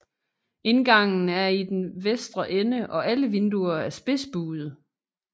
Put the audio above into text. Indgangen er i den vestre ende og alle vinduer er spidsbuede